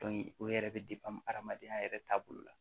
o yɛrɛ bɛ hadamadenya yɛrɛ taabolo la